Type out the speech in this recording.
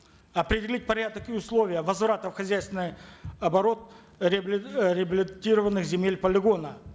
определить порядок и условия возврата в хозяйственный оборот реабилитированных земель полигона